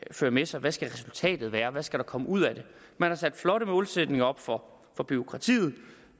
føre med sig hvad skal resultatet være hvad skal der komme ud af det man har sat flotte målsætninger op for bureaukratiet